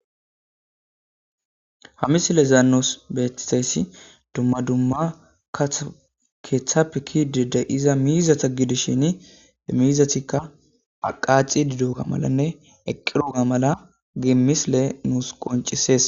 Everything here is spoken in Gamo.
Ha misilezan nus betizays duma duma katha kethape kezida mizata gidishin mithati qaxidogamalanwe eqidogama misiley nus qonicises